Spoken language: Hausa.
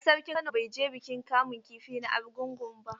A a sarkin Kano bai je bikin kamun kifi na Argungu ba.